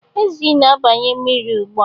Ezi na-abanye na mmiri ugbua